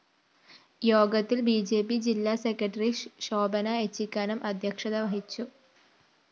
യോഗത്തില്‍ B J P ജില്ല സെക്രട്ടറി ശോഭന ഏച്ചിക്കാനം അദ്ധ്യക്ഷത വഹിച്ചു